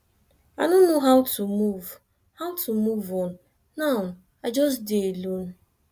i no know how to move how to move on now i just dey alone